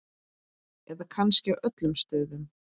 Eða kannski á öllum stöðum?